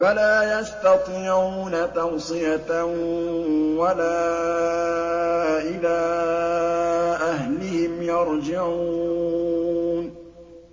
فَلَا يَسْتَطِيعُونَ تَوْصِيَةً وَلَا إِلَىٰ أَهْلِهِمْ يَرْجِعُونَ